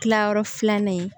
Kilayɔrɔ filanan in